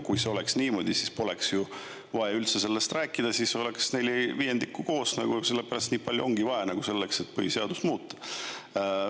Kui see oleks nii, siis poleks vaja üldse sellest rääkida, siis oleks neli viiendikku koos ja nii palju ongi vaja selleks, et põhiseadust muuta.